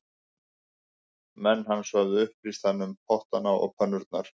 Menn hans höfðu upplýst hann um pottana og pönnurnar